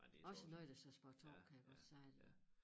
Også noget der sagde spar 2 kan jeg godt sige dig